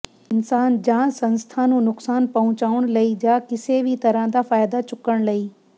ਇਨਸਾਨ ਜਾਂ ਸੰਸਥਾ ਨੂੰ ਨੁਕਸਾਨ ਪਹੁੰਚਾਉਣ ਲਈ ਜਾਂ ਕਿਸੇ ਵੀ ਤਰਾਂ ਦਾ ਫ਼ਾਇਦਾ ਚੁੱਕਣ ਲਈ